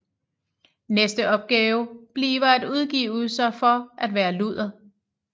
Næste opgave bliver at udgive sig for at være luder